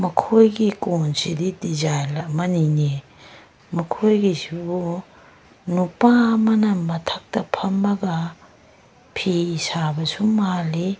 ꯃꯈꯣꯏꯒꯤ ꯀꯦꯟꯁꯤꯗꯤ ꯗꯤꯖꯏꯟ ꯑꯝꯅꯤꯅꯦ ꯃꯈꯣꯏꯒꯤꯁꯤꯕꯨ ꯅꯨꯄꯥ ꯑꯃꯅ ꯃꯊꯛꯇ ꯐꯝꯃꯒ ꯐꯤ ꯁꯥꯕꯁꯨ ꯃꯜꯂꯤ꯫